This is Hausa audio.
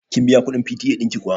Kin biya kuɗin PTA ɗin ki kuwa?